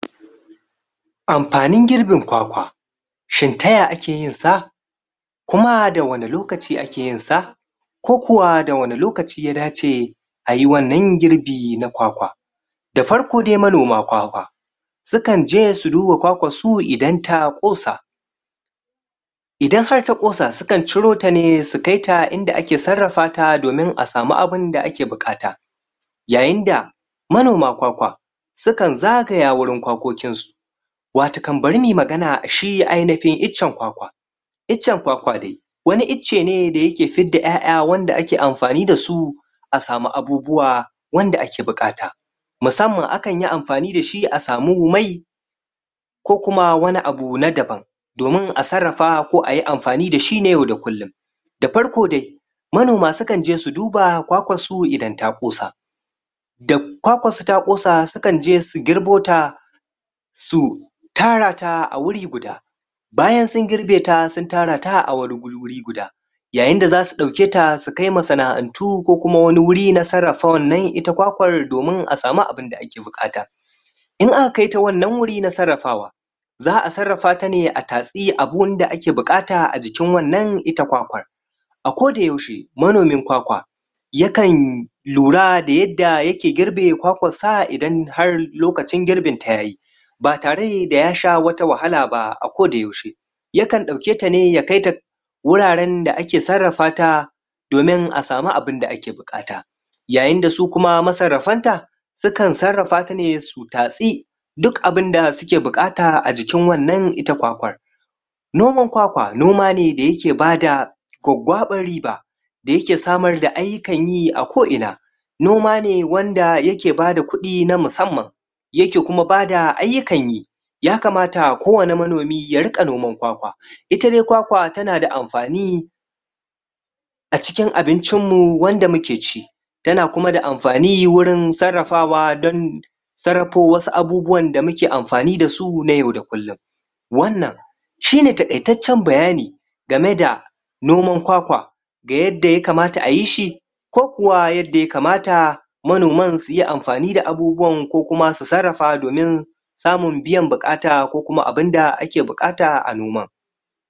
Amfanin girbin kwakwa shin ta yaya ake yin sa? kuma da wane lokaci ake yin sa kokuwa da wane lokaci ya dace ayi wannan girbe na kwakwa da farko de, manoman kwakwa, sukan jes u duba kwakwan so idan ta kosa, idan har ta kosa, su kan ciro ta ne su kai ta inda ake tsarrafa ta domin a samu abin da ake bukata yayin da manoman kwakwa, sukan zagaya wurin kwakokin su watto kam bare mu yi magana, shi ainihin ichen kwakwa. Ichen kwakwa de, wane iche ne da yake fid da iya'iya wanda ake amfani da su a samu abubuwa wanda ake bukata. Musamman akan yi amfani da shi a samu mai ko kuma wane abu na daban, domin a tsarrafa ko a yi amfani da shi ne yau da kullum Da farko de manoma sukan je su duba kwakwan su idan ta kosa da kwakwan su ta kosa, sukan je su girbo ta su tara ta a wure guda bayan sun girbe ta, sun tara ta a wane gure guda yayen da za su dauke ta su kai wa sana'antu ko kuma wane wure na tsarrafa wannan ita kwakwan domin a samu abun da ake bukata In aka kai ta wannan wure na tsarrafawa, za'a tsarrafa ta ne a tasi a wurin da ake bukata a jikkin wannan ita kwakwan A ko da yaushe, manomin kwakwa, yakan lura da yadda yake girbe kwakwan sa, idan har lokacin girbin ta yayi ba tare da ya sha wata wahala ba a ko da yaushe ya kan dauke ta ne ya kai ta wuraren da ake tsarrafa ta domin a samu abun da ake bukata yayun da su kuma, ma tsarrafan ta su kan tsarrafa ta ne, su tasi duk abun da suke bukata a jikin wannan ita kwakwa Noman kwakwa, noma ne da yake ba da gwaggaba riba da yake samar da ayyukan yi a ko ina noma ne wanda yake ba da kudi na musamman yake kuma ba da ayyukan yi ya kamata, ko wane manomi ya rika noman kwakwa, ita de kwakwa tana da amfani a cikin abincin mu wanda muke ci tana kuma da amfani wurin tsarrafawa don, tsarrafo wasu abubuwan da muke amfani da su na yau da kullum. Wannan, shi ne tabettacen bayani game da noman kwakwa da yadda ya kamata a yi shi ko kuwa yadda ya kamata manoman su ye amfani da abubuwan ko kuma su tsarrafa domin